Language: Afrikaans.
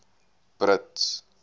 brits